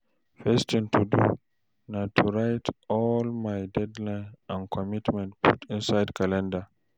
first tin to do na to write all my deadline and commitment put inside calender